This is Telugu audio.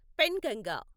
పెన్గంగ